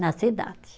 Na cidade.